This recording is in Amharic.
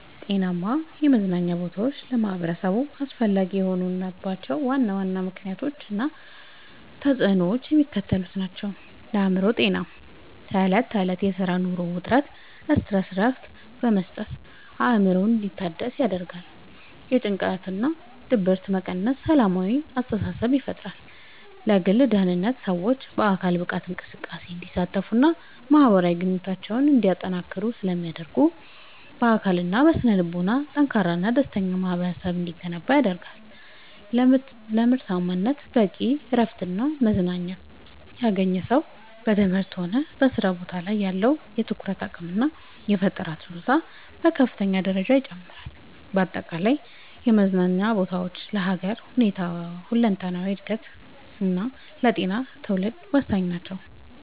ጤናማ የመዝናኛ ቦታዎች ለማኅበረሰቡ አስፈላጊ የሆኑባቸው ዋና ዋና ምክንያቶች እና ተፅዕኖዎቻቸው የሚከተሉት ናቸው፦ ለአእምሮ ጤና፦ ከዕለት ተዕለት የሥራና የኑሮ ውጥረት (Stress) እረፍት በመስጠት አእምሮ እንዲታደስ ያደርጋሉ። ጭንቀትንና ድብርትን በመቀነስ ሰላማዊ አስተሳሰብን ይፈጥራሉ። ለግል ደህንነት፦ ሰዎች በአካል ብቃት እንቅስቃሴ እንዲሳተፉና ማኅበራዊ ግንኙነታቸውን እንዲያጠናክሩ ስለሚረዱ፣ በአካልና በስነ-ልቦና ጠንካራና ደስተኛ ማኅበረሰብ እንዲገነባ ያደርጋሉ። ለምርታማነት፦ በቂ እረፍትና መዝናናት ያገኘ ሰው በትምህርቱም ሆነ በሥራ ቦታው ላይ ያለው የትኩረት አቅምና የፈጠራ ችሎታ በከፍተኛ ደረጃ ይጨምራል። በአጠቃላይ የመዝናኛ ቦታዎች ለሀገር ሁለንተናዊ እድገትና ለጤናማ ትውልድ ወሳኝ ናቸው።